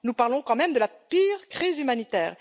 Nous parlons quand même de la pire crise humanitaire!